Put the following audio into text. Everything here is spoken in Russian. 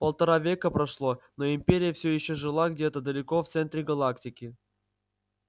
полтора века прошло но империя все ещё жила где-то далеко в центре галактики